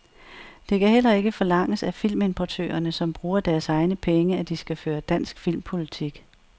Det kan heller ikke forlanges af filmimportørerne, som bruger deres egne penge, at de skal føre dansk filmpolitik.